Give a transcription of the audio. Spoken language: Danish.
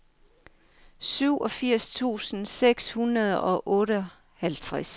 syvogfirs tusind seks hundrede og otteoghalvtreds